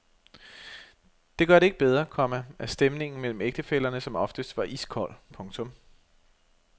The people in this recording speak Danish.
Det gør det ikke bedre, komma at stemningen mellem ægtefællerne som oftest var iskold. punktum